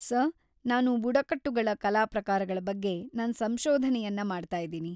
Sir, ನಾನ್‌ ಬುಡಕಟ್ಟುಗಳ ಕಲಾ ಪ್ರಕಾರಗಳ ಬಗ್ಗೆ ನನ್‌ ಸಂಶೋಧನೆಯನ್ನ ಮಾಡ್ತಾಯಿದೀನಿ.